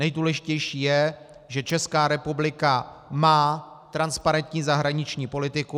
Nejdůležitější je, že Česká republika má transparentní zahraniční politiku.